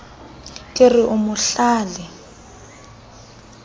ke re o mo hlale